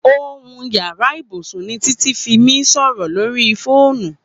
Óhún ìyàrá ibúsún ni Titi fi mi sọrọ lóri fónú